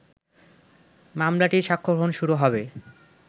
মামলাটির সাক্ষ্যগ্রহণ শুরু হবে